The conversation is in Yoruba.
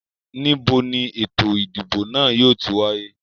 Níbo ni eto ìdìbò náà yìí ó ti wáyé?